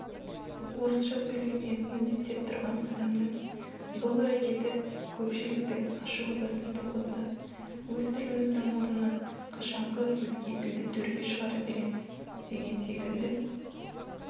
орысша сөйлеуге міндеттеп тұрған адамның бұл әрекеті көпшіліктің ашу-ызасын туғызды өз тіліміздің орнына қашанғы өзге тілді төрге шығара береміз деген секілді